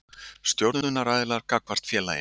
Stjórnunaraðilar gagnvart félaginu.